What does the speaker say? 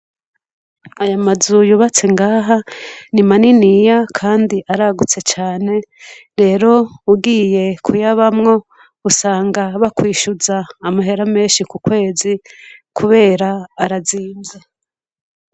Aya mazu yubatse ngaha nimaniniya kandi aragutse cane rero ugiye kuyabamwo usanga bakwishuza amahera menshi ku kwezi kubera arazimvye.